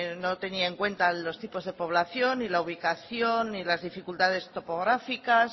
no tenía en cuenta los tipos de población y la ubicación y las dificultades topográficas